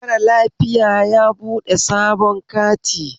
Mara lafiya yabuɗe sabon kati